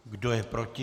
Kdo je proti?